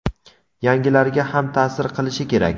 yangilariga ham ta’sir qilishi kerak.